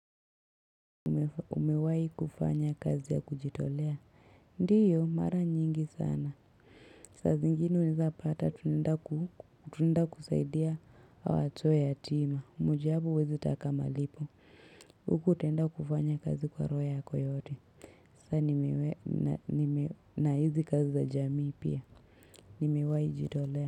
Umewahi kufanya kazi ya kujitolea ndiyo mara nyingi sana saa zingine unaweza pata tunaenda kusaidia watoto yatima ni jambo huwezi taka malipo huko utaenda kufanya kazi kwa roho yako yote na hizi kazi za jamii pia nimewahi jitolea.